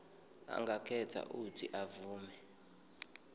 angakhetha uuthi avume